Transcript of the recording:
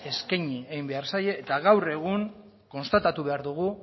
eskaini egin behar zaie eta gaur egun konstatatu behar dugu